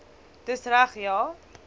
dis reg ja